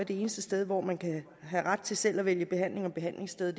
det eneste sted hvor man kan have ret til selv at vælge behandling og behandlingssted